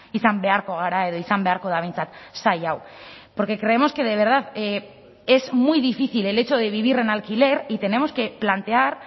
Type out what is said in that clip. izan beharko gara edo izan beharko da behintzat sail hau porque creemos que de verdad es muy difícil el hecho de vivir en alquiler y tenemos que plantear